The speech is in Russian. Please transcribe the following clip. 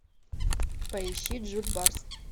поищи джульбарс